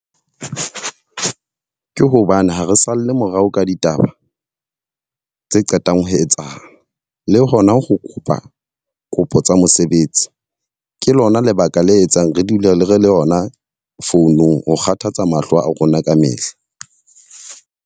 Ke hobane ha re salle morao ka ditaba tse qetang ho etsahala, le hona ho kopa kopo tsa mosebetsi. Ke lona lebaka le etsang re dule re le re le yona founung. Ho kgathatsa mahlo a rona ka mehla.